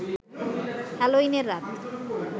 হ্যালোইনের রাত